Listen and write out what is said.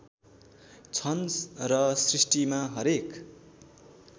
छन र सृष्टिमा हरेक